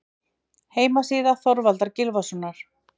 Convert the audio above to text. Heimasíða Þorvaldar Gylfasonar.